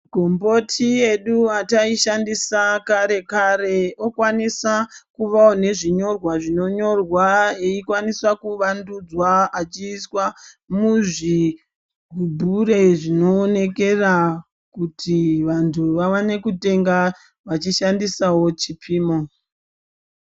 Gomboti yedu yatayishandisa kare kare, yokwanisa kuvawo ngezvinyorwa zvinonyorwa eyikwanisa kuvandudza achiiswa muzvi gubhure zvinowonekera kuti vantu vawane kutenga vachishandisawo chipimo.